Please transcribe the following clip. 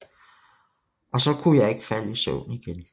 Og så kunne jeg ikke falde i søvn igen